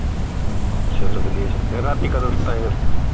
ਚਲ ਵਧੀਆ ਰਾਤੀ ਕਦੋਂ ਸੁੱਤਾ ਹੀ ਫਿਰ